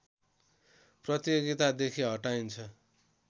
प्रतियोगिता देखि हटाइन्छ